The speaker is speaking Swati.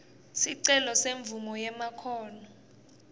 sicelo semvumo yemakhono